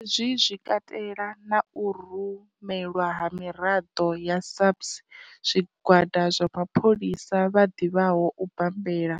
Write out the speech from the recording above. Hezwi zwi katela na u rumelwa ha miraḓo ya SAPS, zwigwada zwa mapholisa vha ḓivhaho u bambela,